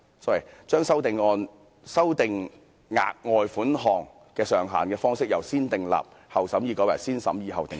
第三，修訂額外款項的上限方式由"先訂立後審議"改為"先審議後訂立"。